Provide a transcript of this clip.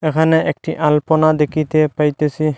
এখানে একটি আলপনা দেখিতে পাইতেসি।